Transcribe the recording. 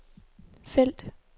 felt